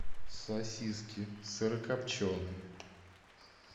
сосиски сырокопченые